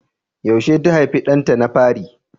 Yaushe ta haifi ɗanta na fari?